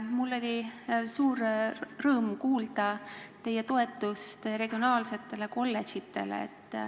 Mul oli suur rõõm kuulda teie toetust regionaalsetele kolledžitele.